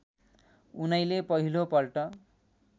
उनैले पहिलो पल्ट